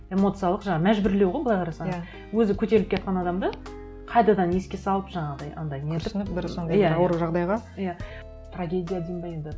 эмоциялық жаңағы мәжбүрлеу ғой былай қарасаң өзі көтеріліп келе жатқан адамды қайтадан еске салып жаңағыдай андай сондай бір ауыр жағдайға иә трагедия деймін бе енді